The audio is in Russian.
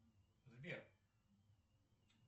сбер